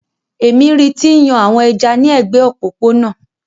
Èmi ri ti ń yan àwọn ẹja ni ẹ̀gbẹ́ òpópónà.